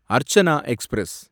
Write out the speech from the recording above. Archana express